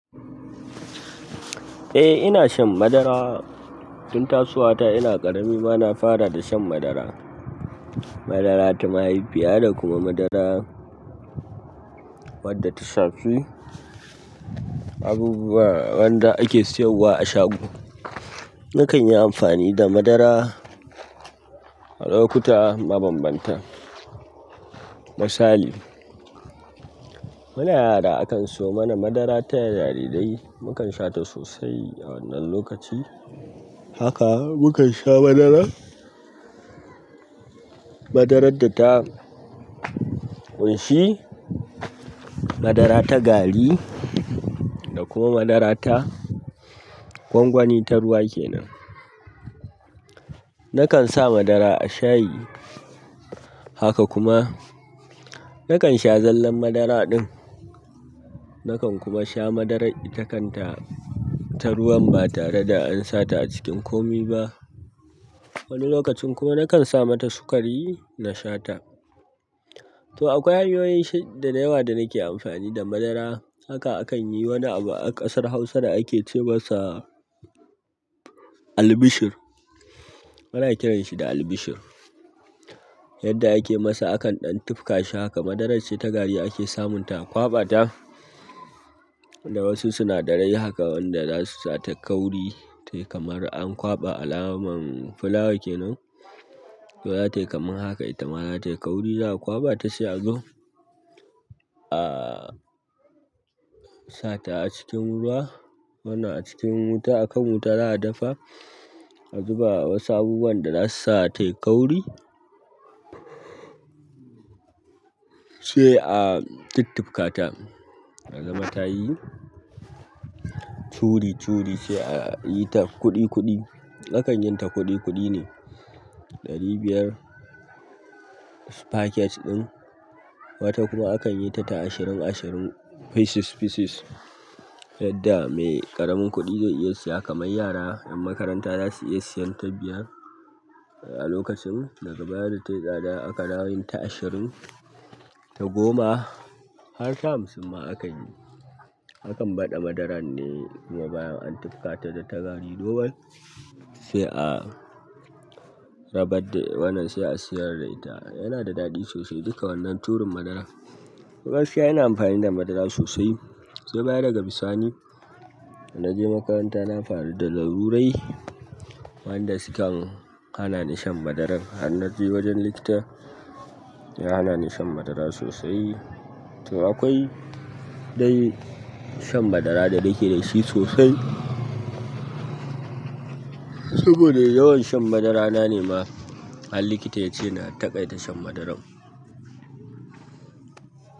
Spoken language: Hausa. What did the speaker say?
Eh ina shan madara. Tun tasowata ina ƙarami ma na fara da shan madara. Madara ta mahaifiya da kuma madara wadda ta shafi. Abubuwa wanda ake sayarwa a shago, nakan yi amfani da madara a lokuta mabanbanta. Misali, muna yara akan siyo mana madara ta jarirai mukan sha ta sosai a wannan lokaci. Haka mukan sha madara, madarar da ta ƙunshi madara ta gari da kuma madara ta gwangwani ta ruwa kenan. Nakan sa madara a shayi, haka kuma nakan sha zallan madara ɗin. Nakan kuma sha madarar itakanta ta ruwan ba tare da an sa ta a cikin komi ba. Wani lokacin kuma nakan sa mata sukari na sha ta. To akwai hanyoyi da yawa da nake amfani da madara hakan akanyi a ƙasar hausa da ake ce masa albishir. Muna kiran shi da albishir. Yadda ake masa akan ɗan tufka shi haka madarar ce ta gari ake samun ta a kwaɓa ta da wasu sinadarai haka wanda zasu sa ta kauri. Tayi kamar a kwaɓa alamar fulawa ke nan. To zatayi kaman haka ita ma, zata yi kauri za a kwabata, sai a zo a sata a cikin ruwa. Wannan a cikin wuta a kan wuta za a dafa, a zuba wasu abubuwan da zasu sa ta yi kauri sai a tuntufka ta. A zama ta yi curi curi sai a yi ta kuɗi kuɗi. Akan yin ta kuɗi kuɗi ne. Ɗari biyar paket ɗin. Wata kuma akan yi ta ashirin ashirin feses feses. Yadda mai ƙaramin kuɗi zai iya siya kamar yara ƴan makaranta zasu iya siyan ta biyar a lokacin. Daga baya da tayi tsada aka dawo yin ta ashirin, ta goma, har ta hamsin ma akan yi. Hakan bada madaran ne, kuma bayan an tufka ta da ta gari normal. Sai a rabadde wannan sai a siyar da ita. Yana da daɗi sosai duka wannan turin madara. To gaskiya ina amfani da madara sosai. Sai bayan daga bisani, da naje makaranta na faru da larurai wanda sukan hana ni shan madaran. Har naje wajen likita ya hana ni shan madara sosai. To akwai dai shan madara da nake da shi sosai. Saboda yawan shan madarana ne ma har likita ya ce na taƙaita shan madaran.